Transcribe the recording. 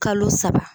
Kalo saba